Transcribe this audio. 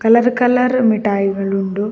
Colour colour ಮಿಟಾಯ್ ಗಳುಂಡು.